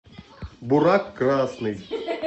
буряк красный